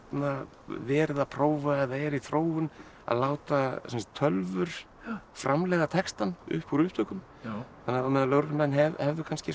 verið að prófa eða er í þróun að láta tölvur framleiða textann upp úr upptökum á meðan lögreglumenn hefðu